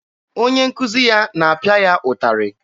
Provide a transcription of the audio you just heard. Onye nkuzi ya na-apịa ya ụtarị.